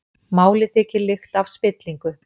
Málið þykir lykta af spillingu